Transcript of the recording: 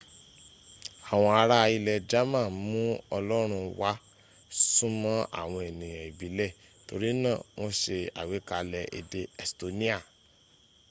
awọn ará ilẹ̀ german mú ọlọ́rún wá súnmọ́ àwọn ẹnìyàn ìbilẹ̀ torí náà wọ́n ṣe àgbékalẹ̀ èdè estonia